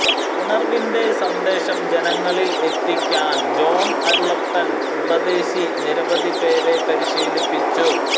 ഉണർവ്വിന്റെ സന്ദേശം ജനങ്ങളിൽ എത്തിക്കാൻ ജോൺ അരുളപ്പൻ ഉപദേശി നിരവധി പേരെ പരിശീലിപ്പിച്ചു